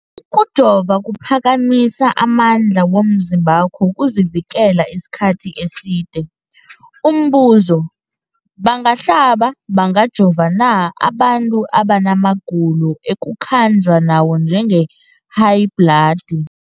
Ukujova kuphakamisa amandla womzimbakho wokuzivikela isikhathi eside. Umbuzo, bangahlaba, bangajova na abantu abana magulo ekukhanjwa nawo, njengehayibhladi?